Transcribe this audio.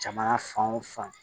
Jamana fan o fan